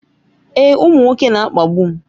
Èè, ụmụ nwoke na-akpagbu m